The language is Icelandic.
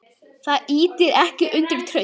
Það ýtir ekki undir traust.